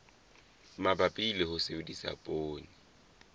mabapi le ho sebedisa poone